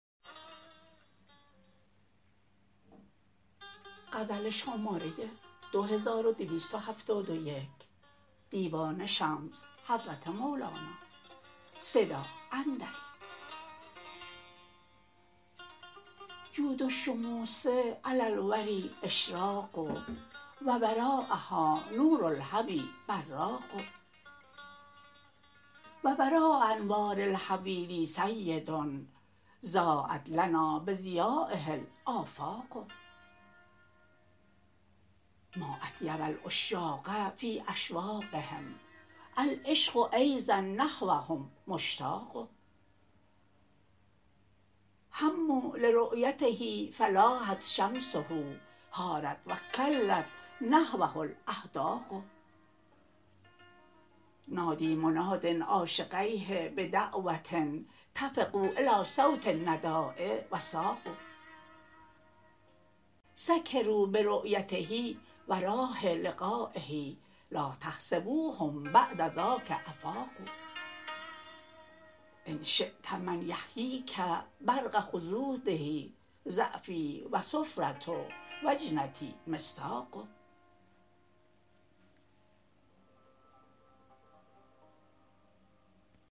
جود الشموس علی الوری اشراق و وراء ها نور الهوی براق و وراء انوار الهوی لی سید ضایت لنا بضیایه الافاق ما اطیب العشاق فی اشواقهم العشق ایضا نحوهم مشتاق هموا لرؤیته فلاحت شمسه حارت و کلت نحوه الاحداق نادی منادی عاشقیه بدعوه طفقوا الی صوت النداء و ساقوا سکروا برؤیته و راح لقایه لا تحسبوهم بعد ذاک افاقوا ان شیت من یحکیک برق خدوده ضعفی و صفره و جنتی مصداق